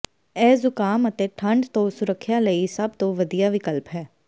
ਇਹ ਜ਼ੁਕਾਮ ਅਤੇ ਠੰਡ ਤੋਂ ਸੁਰੱਖਿਆ ਲਈ ਸਭ ਤੋਂ ਵਧੀਆ ਵਿਕਲਪ ਹੈ